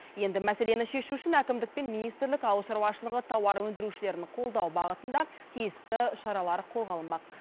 енді мәселені шешу үшін әкімдік пен министрлік ауыл шаруашылығы тауар өндірушілерін қолдау бағытында тиісті шаралар қолға алынбақ